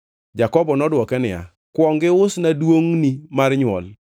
Jakobo nodwoke niya, “Kuong iusna duongʼni mar nywol.”